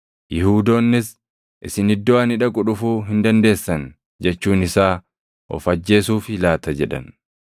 Yihuudoonnis, “ ‘Isin iddoo ani dhaqu dhufuu hin dandeessan’ jechuun isaa of ajjeesuufii laata?” jedhan.